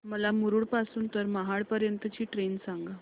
मला मुरुड पासून तर महाड पर्यंत ची ट्रेन सांगा